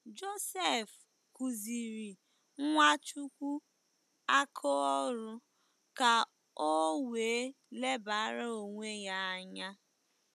Joseph kuziri Nwachukwu aka oru ka o wee lebara onwe ya anya.